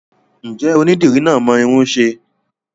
Ǹjẹ́ onídìrí náà mọ irun ṣe?